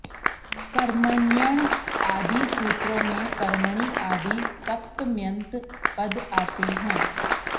कर्मण्यण् आदि सूत्रों में कर्मणि आदि सप्तम्यन्त पद आते हैं